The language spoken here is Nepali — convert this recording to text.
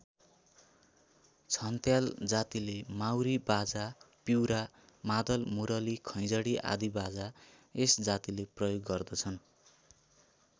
छन्त्याल जातिले माउरी बाजा पिउरा मादल मुरली खैँजडी आदि बाजा यस जातिले प्रयोग गर्दछन्।